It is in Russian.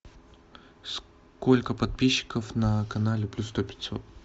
сколько подписчиков на канале плюс сто пятьсот